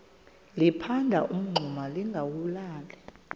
liphanda umngxuma lingawulali